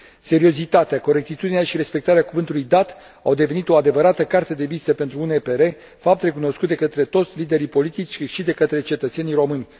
Seriozitatea, corectitudinea și respectarea cuvântului dat au devenit o adevărată carte de vizită pentru UNPR, fapt recunoscut de către toți liderii politici, cât și de către cetățenii români.